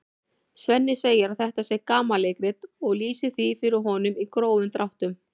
Svenni segir að þetta sé gamanleikrit og lýsir því fyrir honum í grófum dráttum.